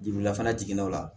Jurula fana jiginna o la